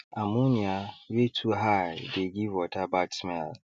ammonia wey too high dey give water bad smell